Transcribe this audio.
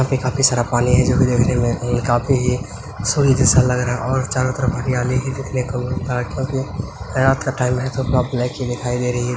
यहाँ पे काफी सारा पानी है जोकि देखने में काफी ही सोने जैसा लग रहा है और चारो तरफ हरियाली है देखने को मिल रहा है| रात का टाइम है दिखाई दे रही है।